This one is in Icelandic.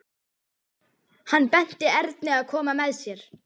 Hann benti Erni að koma með sér.